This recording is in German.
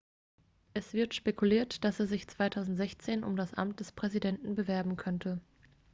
es wird spekuliert dass er sich 2016 um das amt des präsidenten bewerben könnte